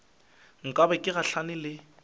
nka be ke gahlane le